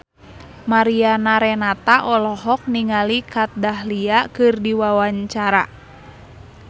Mariana Renata olohok ningali Kat Dahlia keur diwawancara